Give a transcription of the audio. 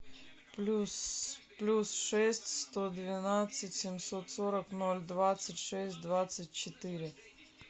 плюс плюс шесть сто двенадцать семьсот сорок ноль двадцать шесть двадцать четыре